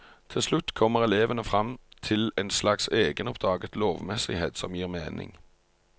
Til slutt kommer elevene frem til en slags egenoppdaget lovmessighet som gir mening.